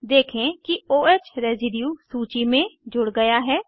देखे कि o ह रेसिड्यु सूची में जुड़ गया है